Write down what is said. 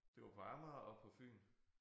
Det var på Amager og på Fyn